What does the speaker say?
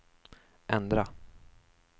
ändra